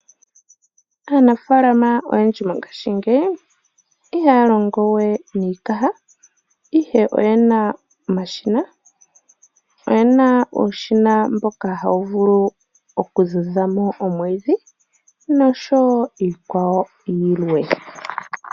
Aanafalama oyendji mongashi ngeyi ihalongowe nikaha ihe oyena omashina, oyena ushina mboka hawu vulu oku dhudhamo omwidhi nosho wo iikwawo yilwe.